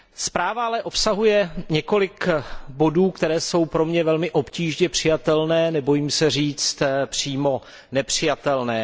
Zpráva ale obsahuje několik bodů, které jsou pro mě velmi obtížně přijatelné, nebojím se říct přímo nepřijatelné.